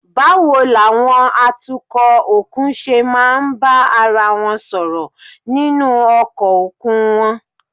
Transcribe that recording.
Báwo làwọn atukọ̀ òkun ṣe máa ń bá ara wọn sọ̀rọ̀ nínú ọkọ̀ òkun wọn?